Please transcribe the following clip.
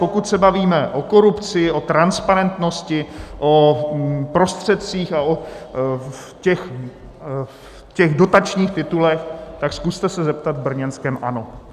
Pokud se bavíme o korupci, o transparentnosti, o prostředcích a o těch dotačních titulech, tak se zkuste zeptat v brněnském ANO.